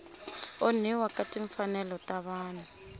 onhiwa ka timfanelo ta vanhu